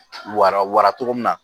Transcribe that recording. Wara wara cogo min na